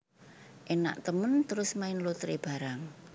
Enak temen terus main lotre barang